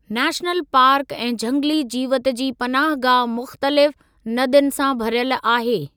National park ऐं झंगली जीवति जी पनाहगाह मुख़्तलिफ़ नदियुनि सां भरियल आहे।